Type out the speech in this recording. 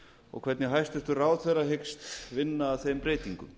og hvernig hæstvirtur ráðherra hyggst vinna að þeim breytingum